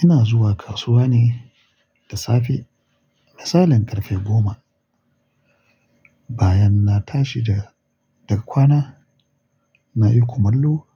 Ina zuwa kasuwa ne da safe, misalin karfe goma. Bayan na tashi da, daga kwana, na yi kumallo,